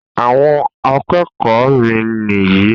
àwon akékòó mi ní yi